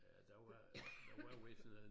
Ja der var der var vist noget